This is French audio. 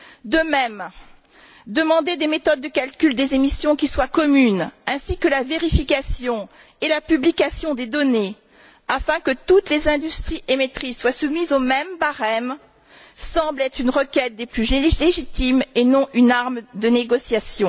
De même, demander des méthodes de calcul des émissions qui soient communes ainsi que la vérification et la publication des données afin que toutes les industries émettrices soient soumises au même barème semble être une requête des plus légitimes et non une arme de négociation.